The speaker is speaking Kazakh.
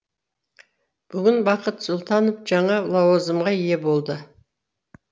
бүгін бақыт сұлтанов жаңа лауазымға ие болды